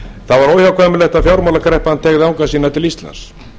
það var óhjákvæmilegt að fjármálakreppan teygði anga sína til íslands